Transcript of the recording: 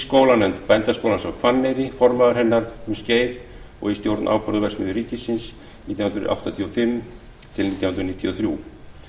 skólanefnd bændaskólans á hvanneyri formaður hennar um skeið og í stjórn áburðarverksmiðjunnar nítján hundruð áttatíu og fimm til nítján hundruð níutíu og þrjú